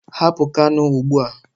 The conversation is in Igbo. Hapụ Kano ugbu a!